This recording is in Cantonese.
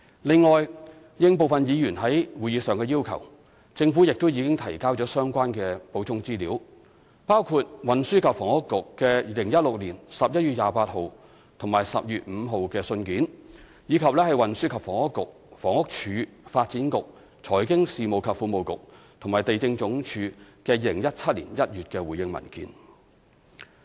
另外，應部分議員在會議上的要求，政府亦已提交相關補充資料，包括運輸及房屋局2016年11月28日及12月5日的信件，以及運輸及房屋局/房屋署、發展局、財經事務及庫務局和地政總署在2017年1月的回應文件。